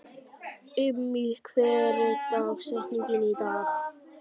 Immý, hver er dagsetningin í dag?